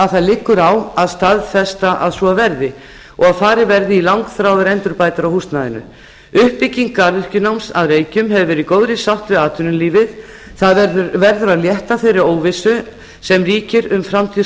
að það liggur á að staðfesta að svo verði og farið verði í langþráðar endurbætur á húsnæðinu uppbygging garðyrkjunáms að reykjum hefur verið í góðri sátt við atvinnulífið það verður að létta þeirri óvissu sem ríkir um framtíð